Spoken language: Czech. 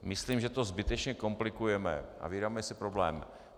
Myslím, že to zbytečně komplikujeme a vyrábíme si problém.